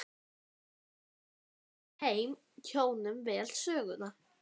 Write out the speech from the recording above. Stulli tók ofan túrbaninn þegar þeir komu inn í almenninginn.